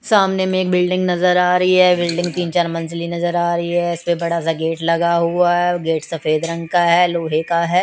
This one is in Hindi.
सामने मे एक बिल्डिंग नजर आ रही है बिल्डिंग तीन चार मंजिली नजर आ रही है इसपे बड़ा सा गेट लगा हुआ है वो गेट सफेद रंग का है लोहे का है।